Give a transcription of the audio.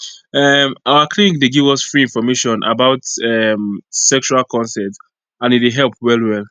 um our clinic dey give us free information about um sexual consent and e dey help well well